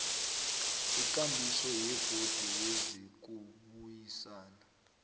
ikambiso yebhodi yezokubuyisana